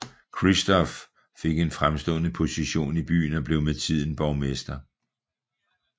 Christoph fik en fremstående position i byen og blev med tiden borgmester